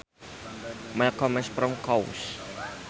Milk comes from cows